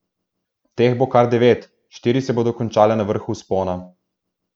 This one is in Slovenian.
Teh bo kar devet, štiri se bodo končale na vrhu vzpona.